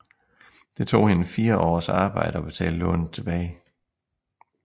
Det tog hende fire års arbejde at betale lånet tilbage